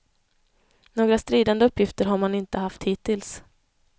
Några stridande uppgifter har man inte haft hittills.